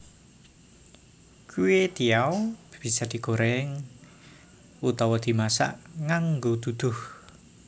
Kwetiau bisa digoreng utawa dimasak nganggo duduh